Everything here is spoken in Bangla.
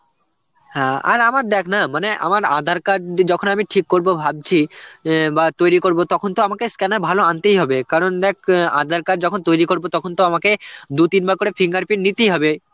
হ্যাঁ আর আমার দেখ না মানে আমার aadhar card ই যখন আমি ঠিক করবো ভাবছি অ্যাঁ বা তৈরি করব তখন তো আমাকে scanner ভালো আনতেই হবে. কারণ দেখ অ্যাঁ aadhar card যখন তৈরী করবো তখন তো আমাকে দু তিনবার করে fingerprint নিতেই হবে